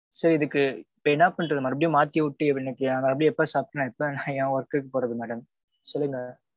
சரி இதுக்கு, இப்ப என்ன பண்றது மறுபடியும் மாத்தி உட்டு எப்படி சாப்பிட்டு நா எப்போ என் work க்கு போறது madam? சொல்லுங்க.